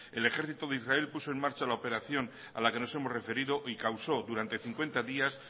el ejército de israel puso en marcha la operación a la que nos hemos referido y causó durante cincuenta días